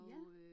Ja